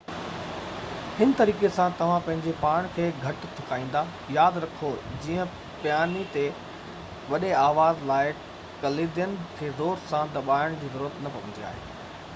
هن طريقي سان توهان پنهنجي پاڻ کي گهٽ ٿڪائيندا ياد رکو جيئن پياني تي وڏي آواز لاءِ ڪليدين کي زور سان دٻائڻ جي ضرورت نہ پوندي آهي